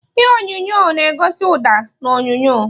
Ihe onyonyo onyonyo na-egosi ụda na onyonyo.